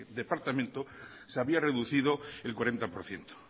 departamento se había reducido el cuarenta por ciento